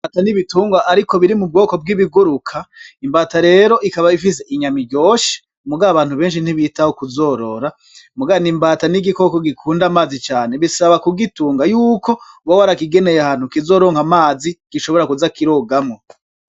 Imbata n'ibitungwa ariko biri mu bwoko bw'ibiguruka, imbata rero ikaba ifise inyama iryoshe, mugabo abantu benshi ntibitaho kuzorora, mugabo imbata n'igikoko gikunda amazi cane, bisaba kugitunga yuko uba warakigeneye ahantu kizoronka amazi gishobora kuza kirogamwo.